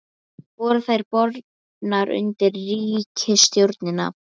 Voru þær bornar undir ríkisstjórnina?